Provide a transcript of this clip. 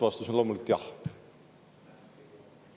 Vastus on loomulikult: jah.